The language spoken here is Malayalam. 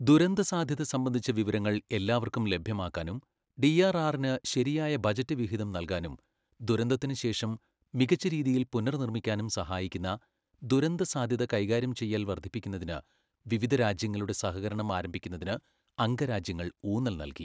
ദുരന്തസാധ്യത സംബന്ധിച്ച വിവരങ്ങൾ എല്ലാവർക്കും ലഭ്യമാക്കാനും ഡിആർആറിന് ശരിയായ ബജറ്റ് വിഹിതം നൽകാനും ദുരന്തത്തിന് ശേഷം മികച്ച രീതിയിൽ പുനർനിർമ്മിക്കാനും സഹായിക്കുന്ന ദുരന്തസാധ്യത കൈകാര്യം ചെയ്യൽ വർദ്ധിപ്പിക്കുന്നതിന് വിവിധ രാജ്യങ്ങളുടെ സഹകരണം ആരംഭിക്കുന്നതിന് അംഗരാജ്യങ്ങൾ ഊന്നൽ നൽകി.